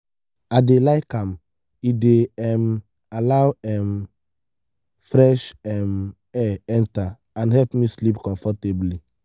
i dey like am e dey um allow um fresh um air enter and help me sleep comfortably.